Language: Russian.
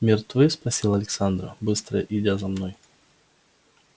мертвы спросила александра быстро идя за мной